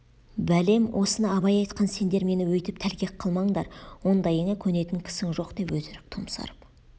бәлем осыны абай айтқан сендер мені өйтіп тәлкек қылмаңдар ондайыңа көнетін кісің жоқ деп өтірік томсарып